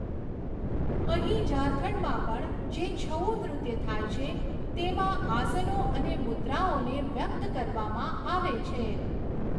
અહીં ઝારખંડમાં પણ જે છઉ નૃત્ય થાય છે, તેમાં આસનો અને મુદ્રાઓને વ્યક્ત કરવામાં આવે છે.